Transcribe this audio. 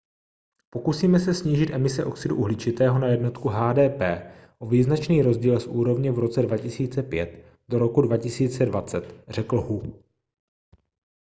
pokusíme se snížit emise oxidu uhličitého na jednotku hdp o význačný rozdíl z úrovně v roce 2005 do roku 2020 řekl hu